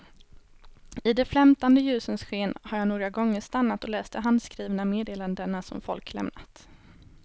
I de flämtande ljusens sken har jag några gånger stannat och läst de handskrivna meddelandena som folk lämnat.